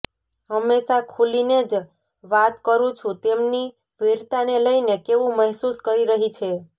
હંમેશા ખુલ્લીને જ વાત કરી હું તેમની વીરતાને લઈને કેવું મહેસુસ કરી રહી છે